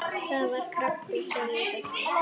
Það var krabbi sagði Böddi.